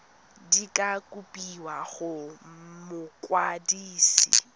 di ka kopiwa go mokwadise